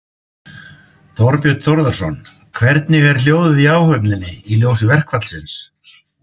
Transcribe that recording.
Þorbjörn Þórðarson: Hvernig er hljóðið í áhöfninni í ljósi verkfallsins?